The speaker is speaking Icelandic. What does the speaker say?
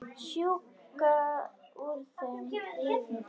Sjúga úr þeim lífið.